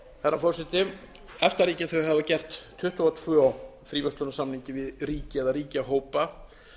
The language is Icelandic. herra forseti efta ríkin hafa gert tuttugu og tvö fríverslunarsamninga við ríki eða ríkjahópa